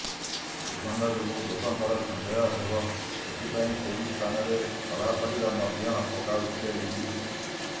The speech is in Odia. ଦୁର୍ଗନ୍ଧ ଯୋଗୁଁ ଲୋକଙ୍କର ସନ୍ଦେହ ହେବ ସେଥିପାଇଁ ସେହି ସ୍ଥାନରେ ସଢା ପରିବା ମଧ୍ୟ ପକାଉଥିଲେ ଲିଲି